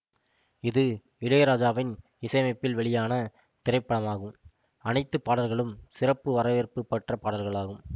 இது இளையராஜாவின் இசையமைப்பில் வெளியான திரைப்படமாகும் அனைத்து பாடல்களும் சிறப்பான வரவேற்பு பெற்ற பாடல்களாகும்